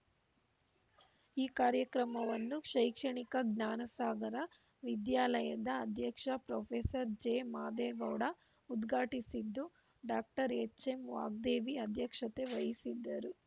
ಈ ಕಾರ್ಯಕ್ರಮವನ್ನು ಶೈಕ್ಷಣಿಕ ಜ್ಞಾನಸಾಗರ ವಿದ್ಯಾಲಯದ ಅಧ್ಯಕ್ಷ ಪ್ರೊಫೆಸರ್ ಜೆ ಮಾದೇಗೌಡ ಉದ್ಘಾಟಿಸಿದ್ದು ಡಾಕ್ಟರ್ ಎಚ್‌ಎಂವಾಗ್ದೇವಿ ಅಧ್ಯಕ್ಷತೆ ವಹಿಸಿದ್ದರು